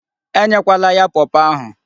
E nyekwala ya pawpaw ahụ.